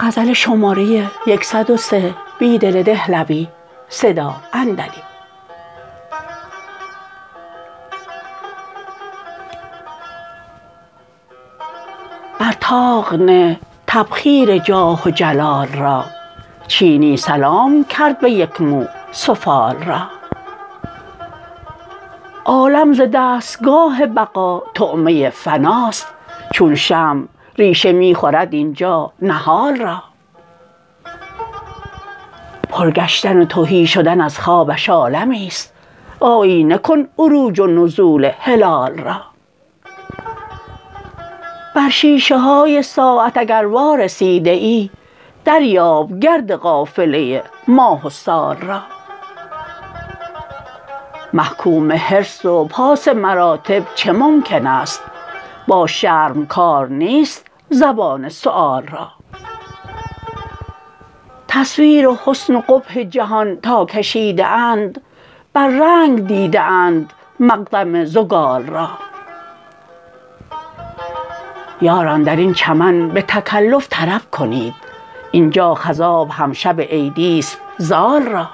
بر طاق نه تبخیر جاه و جلال را چینی سلام کرد به یک مو سفال را عالم ز دستگاه بقا طعمه فناست چون شمع ریشه می خورد اینجا نهال را پرگشتن و تهی شدن از خوابش عالمی است آیینه کن عروج ونزول هلال را بر شیشه های ساعت اگر وارسیده ای دریاب گرد قافله ماه و سال را محکوم حرص و پاس مراتب چه ممکن است با شرم کار نیست زبان سؤال را تصویر حسن و قبح جهان تاکشیده اند بر رنگ دیده اند مقدم زگال را یاران درین چمن به تکلف طرب کنید اینجا خضاب هم شب عیدی ست زال را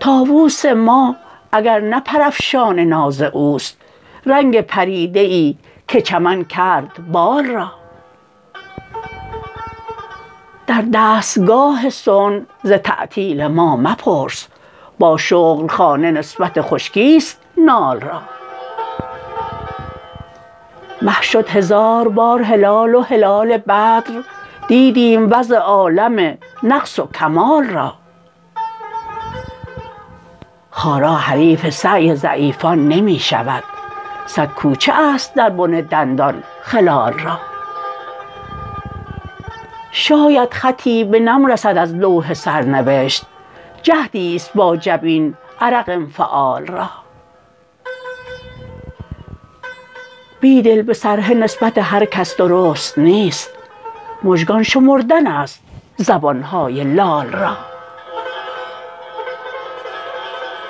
طاووس ما اگر نه پرافشان ناز اوست رنگ پریدة که چمن کرد بال را در درسگاه صنع ز تعطیل ما مپرس با شغل خانه نسبت خشکی ست نال را مه شد هزار بار هلال و هلال بدر دیدیم وضع عالم نقص وکمال را خارا حریف سعی ضعیفان نمی شود صدکوچه است در بن دندان خلال را شاید خطی به نم رسد ازلوح سرنوشت جهدی ست با جبین عرق انفعال را بیدل به سرهه نسبت هرکس درست نیست مژگان شمردن است زبانهای لال را